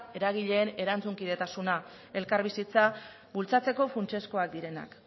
eragileen erantzunkidetasuna elkarbizitza bultzatzeko funtsezkoak direnak